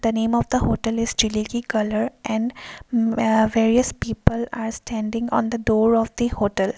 the name of the hotel is jilikee colour and a various people are standing on the door of the hotel.